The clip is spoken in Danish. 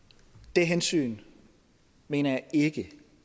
det hensyn mener jeg ikke at